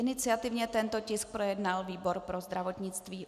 Iniciativně tento tisk projednal výbor pro zdravotnictví.